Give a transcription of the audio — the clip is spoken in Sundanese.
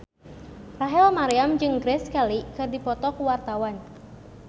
Rachel Maryam jeung Grace Kelly keur dipoto ku wartawan